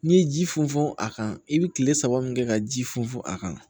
N'i ye ji funfun a kan i bɛ kile saba min kɛ ka ji funfun a kan